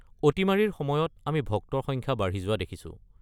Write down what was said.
অতিমাৰীৰ সময়ত আমি ভক্তৰ সংখ্যা বাঢ়ি যোৱা দেখিছোঁ।